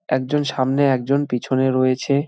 একজন সামনে একজন পিছনে রয়েছে ।